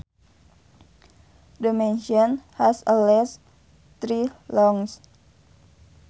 The mansion has at least three lounges